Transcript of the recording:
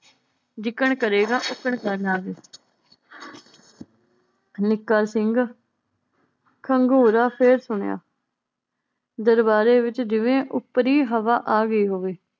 ਜਿਕਣ ਕਰੇਗਾ ਉਕਨ ਨਿੱਕਾ ਸਿੰਘ ਘੰਗੋਰਾਂ ਫੇਰ ਸੁਣਿਆ ਦਰਬਾਰੇ ਵਿਚ ਜਿਵੇਂ ਉੱਪਰੀ ਹਵਾ ਆਗਈ ਹੋਵੇ